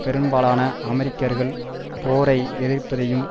பெரும்பலன அமெரிக்கர்கள் போரை எதிர்ப்பதையும்